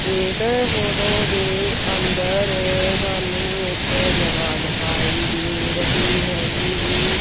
ਇਸ ਫੋਟੋ ਦੇ ਅੰਦਰ ਸਾਨੂੰ ਇੱਕ ਜਗ੍ਹਾ ਦਿਖਾਈ ਦੇ ਰਹੀ ਹੈਗੀ ਜੀ।